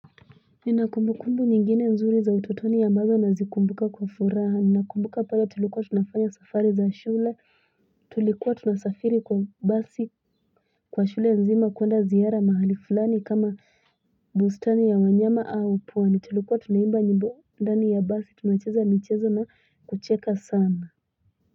Nina kumbukumbu nyingine nzuri za ututoni ambazo nazikumbuka kwa furaha, nina kumbuka pale tulikuwa tunafanya safari za shule, tulikwa tunasafiri kwa basi, kwa shule zima kwenda ziara mahali fulani kama bustani ya wanyama au puwa. Ni tulikuwa tunaimba nyimbo ndani ya basi, tunacheza michezo na kucheka sana.